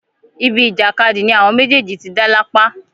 ibi ìjàkadì ni àwọn méjèèjì ti dá lápá